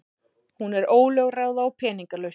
Hún er ólögráða og peningalaus.